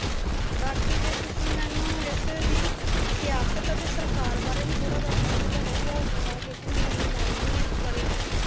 ਬਾਕੀ ਜੇ ਤੁਸੀ ਮੈਨੂੰ ਇਸ ਦੀ ਸਿਆਸਤ ਅਤੇ ਸਰਕਾਰ ਬਾਰੇ ਵੀ ਥੋੜਾ ਦੱਸ ਦਿੰਦੇ ਤਾਂ ਵਧੀਆ ਹੋ ਜਾਂਦਾ ਕਿਉਂਕਿ ਮੈਨੂੰ ਇੰਨੀ knowledge ਨਹੀਂ ਆ ਇਸ ਬਾਰੇ ਵੀ